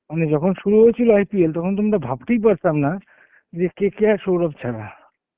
মানে যখন শুরু হয়েছিল IPL তখন কিন্তু ভাবতেই পারতাম না যে KKR সৌরভ ছাড়া.